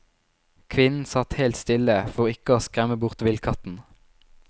Kvinnen satt helt stille for ikke å skremme bort villkatten.